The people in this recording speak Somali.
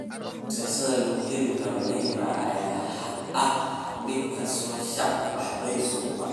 Fursada lagu heli karo Neymar ayaa ah mid ka soo shaac baxday suuqa.